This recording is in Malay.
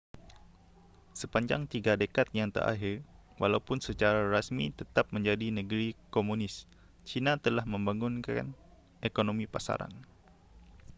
sepanjang tiga dekad yang terakhir walaupun secara rasmi tetap menjadi negeri komunis cina telah membangunkan ekonomi pasaran